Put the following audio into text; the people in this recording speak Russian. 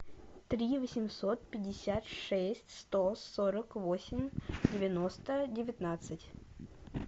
три восемьсот пятьдесят шесть сто сорок восемь девяносто девятнадцать